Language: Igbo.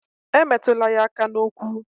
Emetụla ya aka n'ukwu